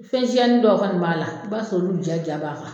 Fɛn siyanin dɔw kɔni b'a la i b'a sɔrɔ olu ja ja b'a kan.